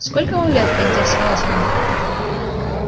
сколько вам лет поинтересовалась она